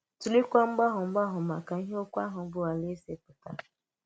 Tụ̀leèkwa mgbàgọ mgbàgọ maka ihe okwu ahụ bụ́ “aláèzè” pụtara.